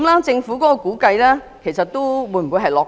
政府的估計是否過於樂觀？